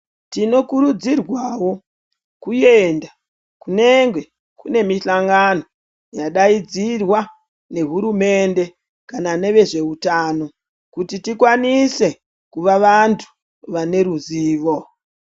Tinokurudzirwawo kuenda kunenge kune mihlangano yadaidzirwa nehurumende kana nevezveutano kuti tikwanise kuva vantu vaneruzivo.